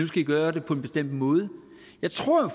skal i gøre det på en bestemt måde jeg tror